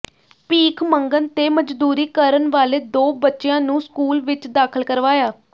ਭੀਖ ਮੰਗਣ ਤੇ ਮਜ਼ਦੂਰੀ ਕਰਨ ਵਾਲੇ ਦੋ ਬੱਚਿਆਂ ਨੂੰ ਸਕੂਲ ਵਿਚ ਦਾਖਲ ਕਰਵਾਇਆ